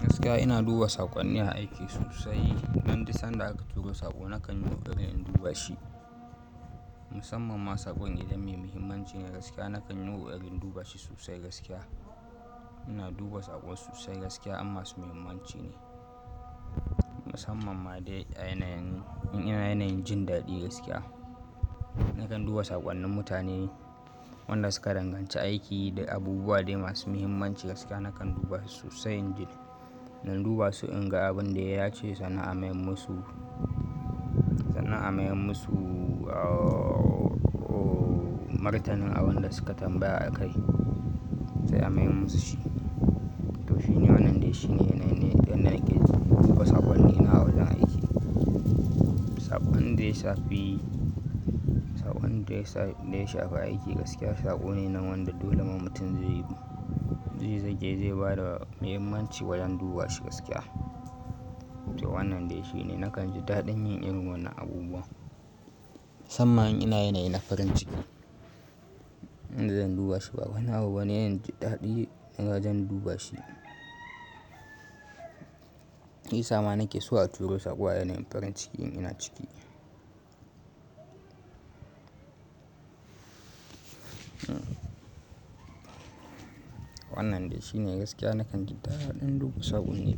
Gaskiya ina duba saƙonni a aiki sosai. Don di sanda aka turo saƙo nakan yi ƙoƙarin in duba shi. Musamman ma saƙon idan mai muhimmanci ne gaskiya nakan yi ƙoƙarin duba shi sosai gaskiya. Ina duba saƙo sosai gaskiya amma su muhimmanci ne. Musamman ma dai a yanayin in ina yanayin jin daɗi gaskiya. Nakan duba saƙonnin mutane wanda suka danganci aiki da abubuwa dai masu muhimmanci gaskiya nakan duba su sosai injin. Don duba su in ga abin da ya ce sannan a mayar musu, sannan a mai musu martanin abin da suka tambaya a kai sai a mayar musu shi. To shi ne wannan dai shi ne yanayin da nake duba saƙonnina wajen aiki. Saƙon da ya shafi, saƙon da ya shafi aiki gaskiya saƙo ne na wanda dole mammutin zai zage zai bada muhimmanci wajen duba shi gaskiya. To wannan dai shi ne nakan ji daɗin yin irin wannan abubuwa. Musamman in ina yanayi na farin ciki, in zan duba shi ba wani abu ba Wannan yayi ji daɗi in ba zan duba shi. Hii sama nake so a turo saƙo a yanayin farin cikin ina ciki. Wannan dai shi ne gaskiya nakan ji daɗin duba saƙo ne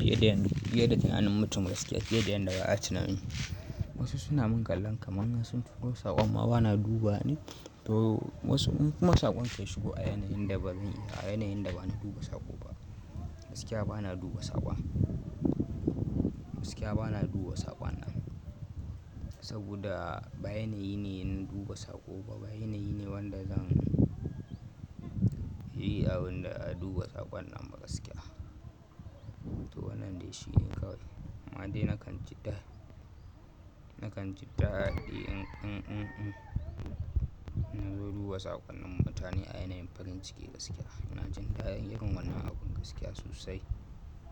fiye da yanayin, fiye da tunanin mutum gaskiya, fiye da yan da ba a tuna mi. Wasu suna mun ƙallon kaman na sun turo saƙo amma bana duba ne. To wasu kuma saƙon da ya shigo a yanayin da ba mi, a yanayin da bani duba saƙo ba. Gaskiya bana duba saƙon. Gaskiya bana duba saƙon nan. Saboda ba yanayi ne in duba saƙo ba. Ba yanayi ne wanda zan yi abin da a duba saƙon nan ba gaskiya. To wannan dai shi ne kawai. Ma dai nakan ji daɗi, nakan ji daɗi in, in, in, in duba saƙonnin mutane a yanayin farin ciki gaskiya. Nakan ji daɗin yin wannan abun gaskiya sosai.